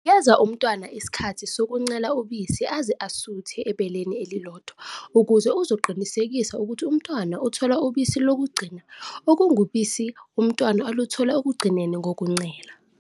Nikeza umntwana isikhathi sokuncela ubisi aze asuthe ebeleni elilodwa ukuze uzoqinisekisa ukuthi umntwana uthola ubisi lokugcina okungubisi umntwana aluthola ekugcineni kokuncela.